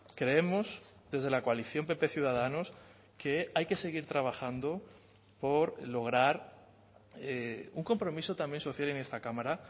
creemos desde la coalición pp ciudadanos que hay que seguir trabajando por lograr un compromiso también social en esta cámara